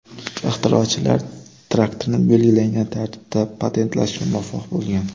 Ixtirochilar traktorni belgilangan tartibda patentlashga muvaffaq bo‘lgan.